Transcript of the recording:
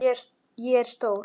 Ég er stór.